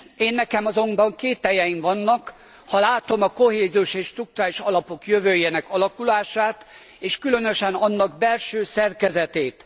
Énnekem azonban kételyeim vannak, ha látom a kohéziós és strukturális alapok jövőjének alakulását, és különösen annak belső szerkezetét.